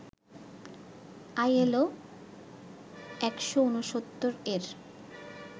ILO ১৬৯ এর